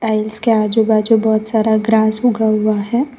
और इसके आजु बाजु बहुत सारा ग्रास उगा हुआ है।